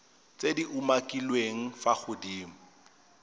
tse di umakiliweng fa godimo